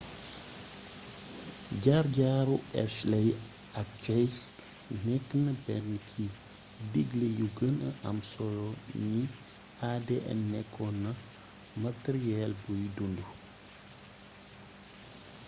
jaar-jaaru hershey ak chase nekk na benn ci digle yu gëna am solo ni adn nekkoon na matariyeel buy dundu